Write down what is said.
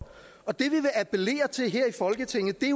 og det vi appellerer til her i folketinget er